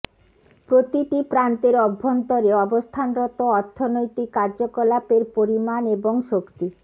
প্রতিটি প্রান্তের অভ্যন্তরে অবস্থানরত অর্থনৈতিক কার্যকলাপের পরিমাণ এবং শক্তি